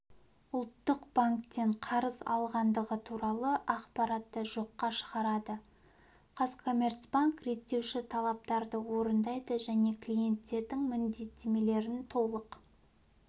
ұлттық банктен қарыз алғандығы туралы ақпаратты жоққа шығарады қазкоммерцбанк реттеуші талаптарды орындайды және клиенттердің міндеттемелерін толық